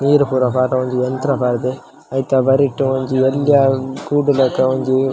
ನೀರ್ ಪೂರ ಪಾಡ್ನ ಒಂಜಿ ಯಂತ್ರ ಪಾಡ್ ದೆ ಐತ ಬರಿಟ್ ಒಂಜಿ ಎಲ್ಲ್ಯ ಕೂಡುಲಕ ಒಂಜಿ .